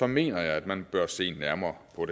mener jeg at man bør se nærmere på